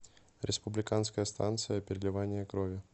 республиканская станция переливания крови